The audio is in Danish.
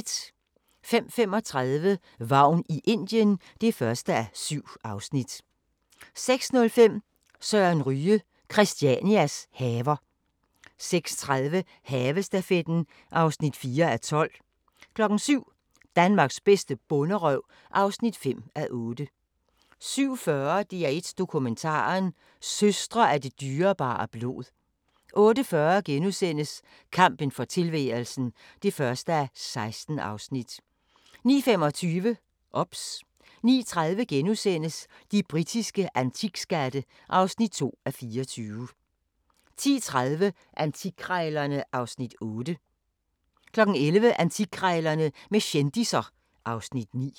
05:35: Vagn i Indien (1:7) 06:05: Søren Ryge – Christianias haver 06:30: Havestafetten (4:12) 07:00: Danmarks bedste bonderøv (5:8) 07:40: DR1 Dokumentaren: Søstre af det dyrebare blod 08:40: Kampen for tilværelsen (1:16)* 09:25: OBS 09:30: De britiske antikskatte (2:24)* 10:30: Antikkrejlerne (Afs. 8) 11:00: Antikkrejlerne med kendisser (Afs. 9)